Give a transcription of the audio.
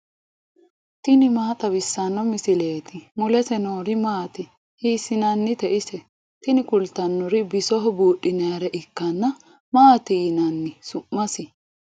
tini maa xawissanno misileeti ? mulese noori maati ? hiissinannite ise ? tini kultannori bisoho buudhinayiire ikkanna. maati yinanni su'masi?